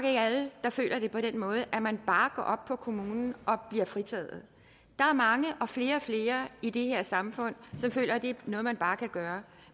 ikke alle der føler det på den måde at man bare går op på kommunen og bliver fritaget der er mange og flere og flere i det her samfund som føler det er noget man bare kan gøre